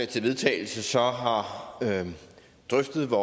til vedtagelse så har drøftet hvor